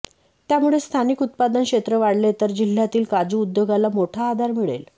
त्यामुळे स्थानिक उत्पादन क्षेत्र वाढले तर जिल्ह्यातील काजू उद्योगाला मोठा आधार मिळेल